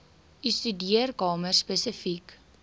u studeerkamer spesifiek